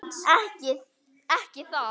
Ekki þar.